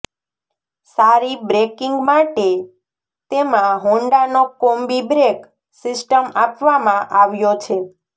સારી બ્રેકિંગ માટે તેમાં હોન્ડાનો કોમ્બી બ્રેક સિસ્ટમ આપવામાં આવ્યો છે